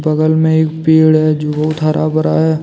बगल में एक पेड़ है जो बहुत हरा भरा है।